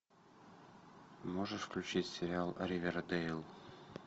можешь включить сериал ривердейл